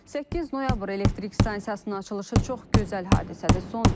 8 noyabr elektrik stansiyasının açılışı çox gözəl hadisədir.